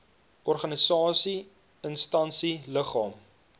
organisasie instansie liggaam